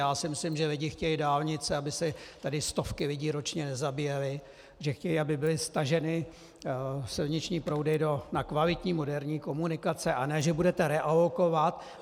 Já si myslím, že lidé chtějí dálnice, aby se tady stovky lidí ročně nezabíjely, že chtějí, aby byly staženy silniční proudy na kvalitní moderní komunikace, a ne že budete realokovat.